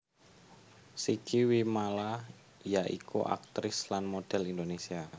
Sigi Wimala ya iku aktris lan model Indonesia